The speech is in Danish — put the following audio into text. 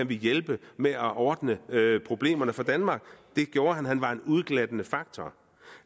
ville hjælpe med at ordne problemerne for danmark det gjorde han han var en udglattende faktor